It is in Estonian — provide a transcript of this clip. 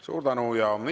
Suur tänu!